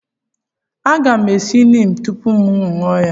a ga m esi neem tupu m aṅụ ya?